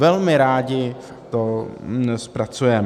Velmi rádi to zpracujeme.